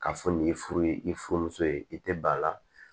K'a fɔ nin ye furu ye i furumuso ye i tɛ ba la